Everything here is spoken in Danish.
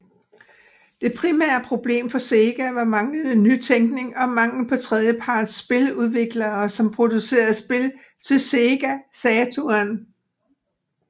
Det primære problem for Sega var manglende nytænkning og manglen på tredjeparts spiludviklere som producerede spil til Sega Saturn